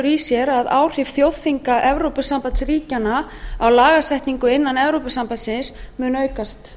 í sér að áhrif þjóðþinga evrópusambandsríkjanna á lagasetningu innan evrópusambandinu mun aukast